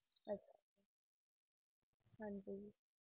ਹਾਂਜੀ